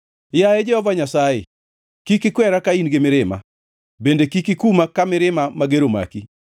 Yaye Jehova Nyasaye, kik ikwera ka in gi mirima bende kik ikuma ka mirima mager omaki.